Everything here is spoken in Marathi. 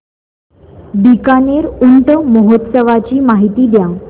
बीकानेर ऊंट महोत्सवाची माहिती द्या